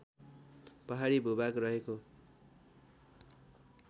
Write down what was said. पहाडी भूभाग रहेको